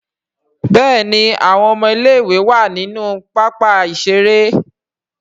Béèni àwọn ọmọ ilé ìwé wá nínú pápá ìṣeré..